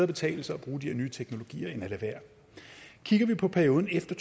betale sig at bruge de her nye teknologier end at lade være kigger vi på perioden efter